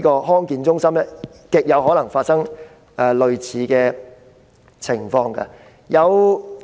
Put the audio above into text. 康健中心極有可能發生類似情況。